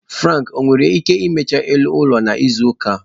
Frank owere ike imecha elu ụlọ n'izu ụka a?